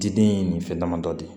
Diden ye nin fɛn damadɔ de